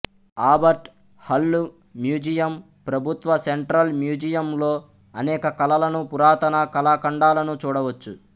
ఆబర్ట్ Hall Museum ప్రభుత్వ central మ్యూజియమ్లో అనేక కళలను పురాతన కళాఖండాలను చూడ వచ్చు